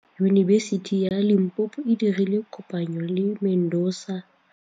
Yunibesiti ya Limpopo e dirile kopanyô le MEDUNSA.